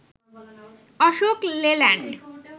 Ashok Leyland